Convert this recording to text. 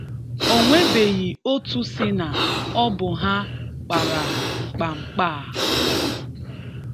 Onwebeghị otú sị na ọ bụ ha kpara mkpamkpa a.